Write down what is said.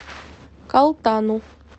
калтану